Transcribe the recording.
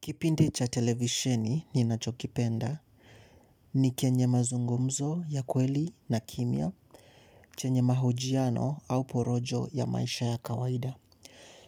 Kipindi cha televisheni ninachokipenda ni kenye mazungumzo ya kweli na kimya chenye mahojiano au porojo ya maisha ya kawaida.